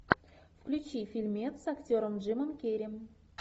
включи фильмец с актером джимом керри